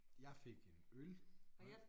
Jeg fik en øl og